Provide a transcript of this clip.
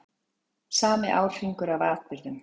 Sami árhringur af atburðum.